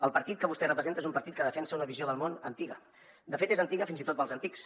el partit que vostè representa és un partit que defensa una visió del món antiga de fet és antiga fins i tot per als antics